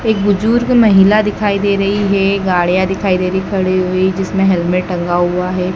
एक बुजुर्ग महिला दिखाई दे रही है गाड़ियां दिखाई दे रही खड़ी हुई जिसमें हेलमेट टंगा हुआ है।